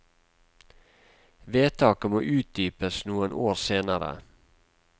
Vedtaket måtte utdypes noen år senere.